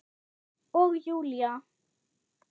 Og Júlía